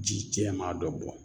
Ji jɛman dɔ bɔ